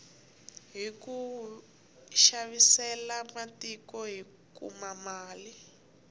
hiku xavisela matiko hi kuma mali